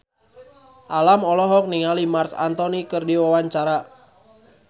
Alam olohok ningali Marc Anthony keur diwawancara